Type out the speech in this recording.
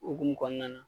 Okumu kɔnɔna na